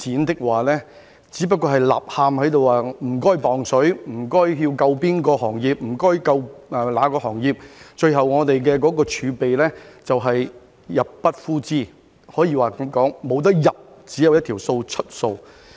有人不斷在吶喊："請派錢"、"請救哪個行業"，最後我們的儲備便會入不敷支，可以說是沒有收入，只有一項支出的數字。